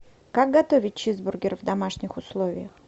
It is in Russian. как готовить чизбургер в домашних условиях